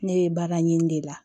Ne ye baara ɲini de la